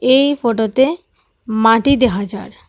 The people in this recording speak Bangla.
এই ফটোতে মাটি দেখা যার।